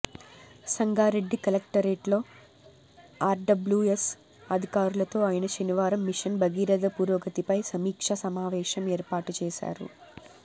సంగారెడ్డి కలెక్టరేట్లో ఆర్డ బ్లుఎస్ అధికారులతో ఆయన శనివారం మిషన్ భగీరత పురో గతిపై సమీక్షా సమావేశం ఏర్పాటు చేశారు